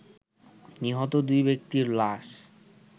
নিহত দুই ব্যক্তির লাশ